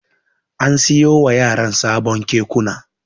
An siyo wa yaran sabon Kekuna.